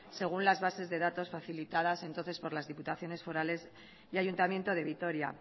según las bases de datos facilitadas por las diputaciones forales y el ayuntamiento de vitoria